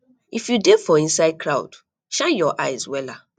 if you dey for inside crowd shine your eyes wella